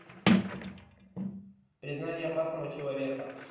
признание опасного человека